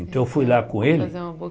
Então eu fui lá com ele.